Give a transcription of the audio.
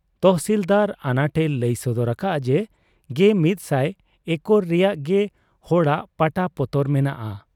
ᱛᱚᱦᱥᱤᱞᱫᱟᱨ ᱟᱱᱟᱴ ᱮ ᱞᱟᱹᱭ ᱥᱚᱫᱚᱨ ᱟᱠᱟᱜ ᱟ ᱡᱮ ᱑᱑᱐᱐ ᱮᱠᱚᱨ ᱨᱮᱭᱟᱝ ᱜᱮ ᱦᱚᱲᱟᱜ ᱯᱟᱴᱟ ᱯᱚᱛᱚᱨ ᱢᱮᱱᱟᱜ ᱟ ᱾